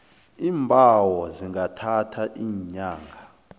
iimbawo zingathatha iinyanga